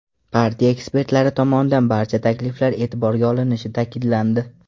Partiya ekspertlari tomonidan barcha takliflar e’tiborga olinishi ta’kidlandi.